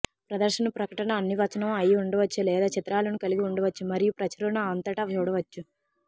ప్రదర్శన ప్రకటన అన్ని వచనం అయి ఉండవచ్చు లేదా చిత్రాలను కలిగి ఉండవచ్చు మరియు ప్రచురణ అంతటా చూడవచ్చు